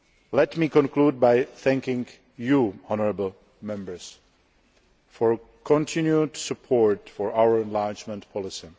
Let me conclude by thanking you, honourable Members, for your continued support for our enlargement policy.